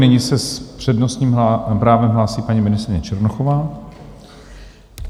Nyní se s přednostním právem hlásí paní ministryně Černochová.